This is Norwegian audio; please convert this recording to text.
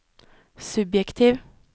subjektiv